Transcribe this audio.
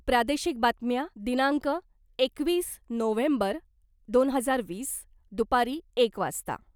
प्रादेशिक बातम्या दिनांक एकवीस नोव्हेंबर दोन हजार वीस दुपारी एक वाजता